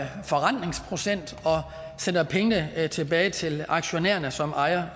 sender pengene tilbage til aktionærerne som ejer